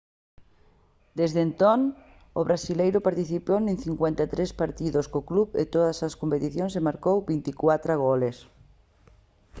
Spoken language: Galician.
desde entón o brasileiro participou en 53 partidos co club en todas as competicións e marcou 24 goles